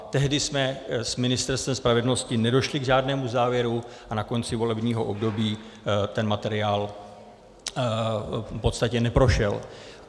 Tehdy jsme s Ministerstvem spravedlnosti nedošli k žádnému závěru a na konci volebního období ten materiál v podstatě neprošel.